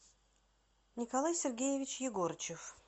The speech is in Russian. николай сергеевич егорычев